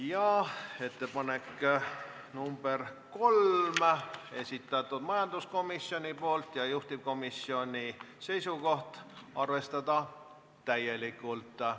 Ka ettepaneku nr 3 on esitanud majanduskomisjon, juhtivkomisjoni seisukoht on arvestada seda täielikult.